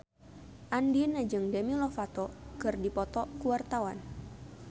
Andien jeung Demi Lovato keur dipoto ku wartawan